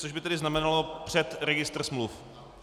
To by tedy znamenalo před registr smluv.